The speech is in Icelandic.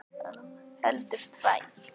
Heldur tvær.